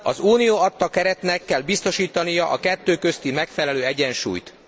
Az Unió adta keretnek kell biztosítania a kettő közti megfelelő egyensúlyt.